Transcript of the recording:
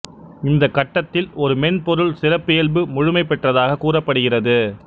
இந்தக் கட்டத்தில் ஒரு மென்பொருள் சிறப்பியல்பு முழுமை பெற்றதாகக் கூறப்படுகிறது